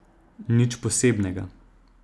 Nič posebnega.